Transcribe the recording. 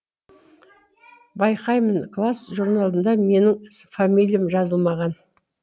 байқаймын класс журналында менің фамилиям жазылмаған